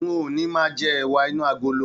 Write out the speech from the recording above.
N o ní máa jẹ ẹwà inú agolo.